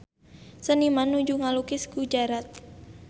Seniman nuju ngalukis Gujarat